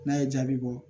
N'a ye jaabi bɔ